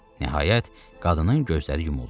Nəhayət qadının gözləri yumuldu.